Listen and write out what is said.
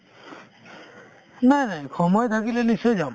নাই নাই সময় থাকিলে নিশ্চয় যাম